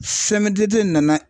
sɛmudete